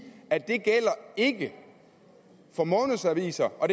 at det ikke gælder for månedsaviser og